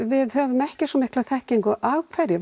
við höfum ekki svo mikla þekkingu á af hverju